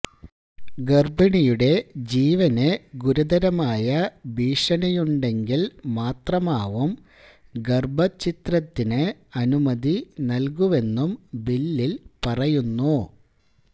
ഗർഭിണിയുടെ ജീവന് ഗുരുതരമായ ഭീഷണിയുണ്ടെങ്കിൽ മാത്രമാവും ഗർഭഛിദ്രത്തിന് അനുമതി നൽകുവെന്നും ബില്ലിൽ പറയുന്നു